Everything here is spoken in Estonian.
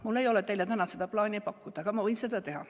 Mul ei ole teile täna seda plaani pakkuda, aga ma võin seda teha.